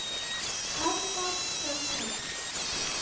Aðgát skal höfð.